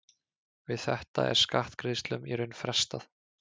Við þetta er skattgreiðslum í raun frestað.